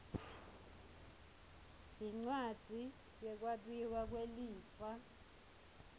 yincwadzi yekwabiwa kwelifa